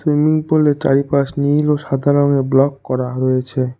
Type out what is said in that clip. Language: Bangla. সুইমিং পুল -এ চারিপাশ নীল ও সাদা রঙে ব্লক করা হয়েছে।